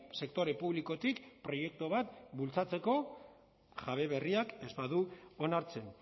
sektore publikotik proiektu bat bultzatzeko jabe berriak ez badu onartzen